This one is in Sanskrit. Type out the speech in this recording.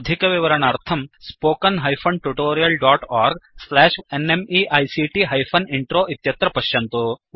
अधिकविवरणार्थं spoken hyphen tutorial dot org slash NMEICT hyphen intro इत्यत्र पश्यन्तु